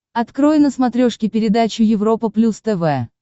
открой на смотрешке передачу европа плюс тв